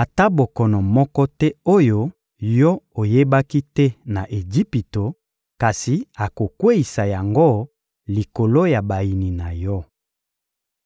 ata bokono moko te oyo yo oyebaki te na Ejipito, kasi akokweyisa yango likolo ya bayini na yo.